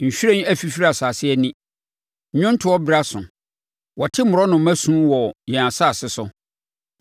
Nhwiren afifiri asase ani: nnwontoɔ berɛ aso. Wɔte mmorɔnoma su wɔ yɛn asase so.